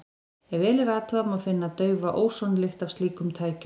Ef vel er athugað, má finna daufa ósonlykt af slíkum tækjum.